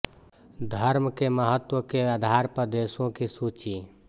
धर्म के महत्व के आधार पर देशों की सूची